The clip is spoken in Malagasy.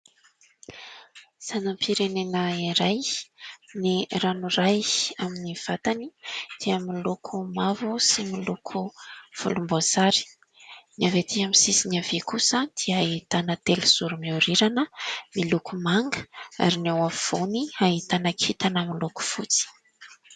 Sainam-pirenena iray, ny ranoray amin'ny vatany dia miloko mavo sy miloko volomboasary. Ny avy atỳ amin'ny sisiny havia kosa dia ahitana telozoro miorirana miloko manga ary ny eo afovoany ahitana kintana miloko fotsy.